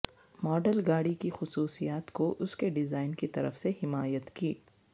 model گاڑی کی خصوصیات کو اس کے ڈیزائن کی طرف سے حمایت کی